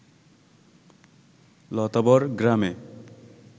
লতাবর গ্রামে